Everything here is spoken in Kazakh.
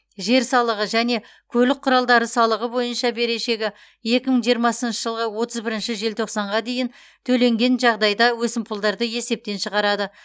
жер салығы және көлік құралдары салығы бойынша берешегі екі мың жиырмасыншы жылғы отыз бірінші желтоқсанға дейін төленген жағдайда өсімпұлдарды есептен шығарады